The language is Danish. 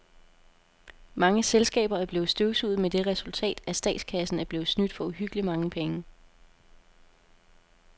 Mange selskaber er blevet støvsuget med det resultat, at statskassen er blevet snydt for uhyggeligt mange penge.